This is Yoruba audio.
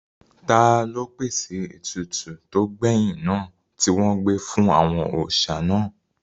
Taló pèsè ètùtù tó gbẹ̀yìn náà tí wọn gbé fún àwọn òòsà náà?